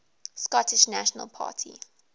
scottish national party